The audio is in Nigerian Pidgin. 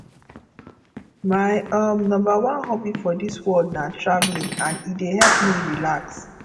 my um number one hobby for dis world na traveling and e dey help me relax